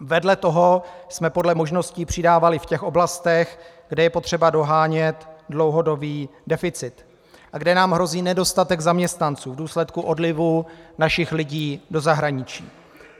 Vedle toho jsme podle možností přidávali v těch oblastech, kde je potřeba dohánět dlouhodobý deficit a kde nám hrozí nedostatek zaměstnanců v důsledku odlivu našich lidí do zahraničí.